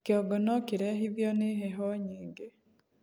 kĩongo nokirehithio ni heho nyingĩ